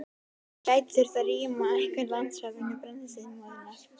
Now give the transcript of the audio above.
En gæti þurft að rýma einhver landsvæði vegna brennisteinsmóðunnar?